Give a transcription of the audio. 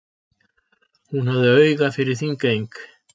Hún hafði auga fyrir Þingeying.